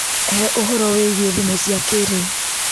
He ũhoro wĩgiĩ thimũ cia kĩrĩu.